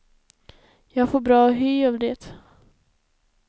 Jag får bra hy av det.